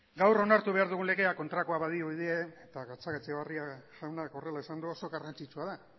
gaur onartu behar dugun legea kontrakoa badirudi ere eta gatzagaetxebarria jaunak horrela esan du oso garrantzitsua da